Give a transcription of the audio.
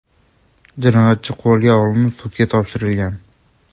Jinoyatchi qo‘lga olinib, sudga topshirilgan.